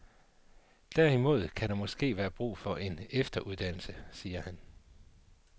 Derimod kan der måske være brug for en efteruddannelse, siger han.